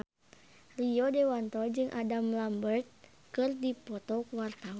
Rio Dewanto jeung Adam Lambert keur dipoto ku wartawan